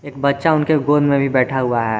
एक बच्चा उनके गोद में भी बैठा हुआ है।